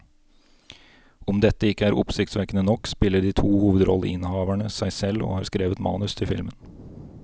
Om dette ikke er oppsiktsvekkende nok, spiller de to hovedrolleinnehaverne seg selv og har skrevet manus til filmen.